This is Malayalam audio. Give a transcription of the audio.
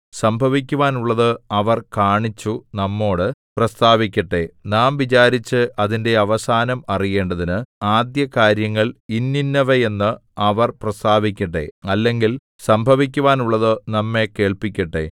സംഭവിക്കുവാനുള്ളത് അവർ കാണിച്ചു നമ്മോടു പ്രസ്താവിക്കട്ടെ നാം വിചാരിച്ച് അതിന്റെ അവസാനം അറിയേണ്ടതിന് ആദ്യകാര്യങ്ങൾ ഇന്നിന്നവയെന്ന് അവർ പ്രസ്താവിക്കട്ടെ അല്ലെങ്കിൽ സംഭവിക്കുവാനുള്ളത് നമ്മെ കേൾപ്പിക്കട്ടെ